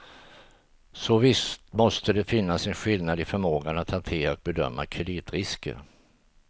Så visst måste det finnas en skillnad i förmågan att hantera och bedöma kreditrisker.